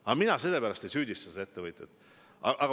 Aga mina selle pärast ei süüdista seda ettevõtjat.